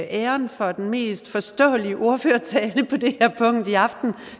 æren for den mest forståelige ordførertale på det her punkt i aften